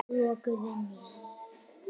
Lokuð inni.